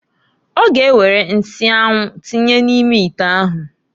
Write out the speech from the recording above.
Ọ ga ewere nsị anwụ tinye n'ime ite ahụ.